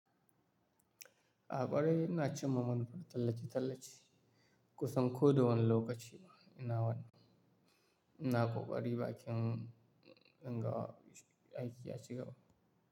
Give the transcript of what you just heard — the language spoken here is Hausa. Akwarai ina cimma muna tallace-tallace. Kusan ko da wani lokaci ina wannan. Ina ƙoƙari bakin inga aiki ya cigaba.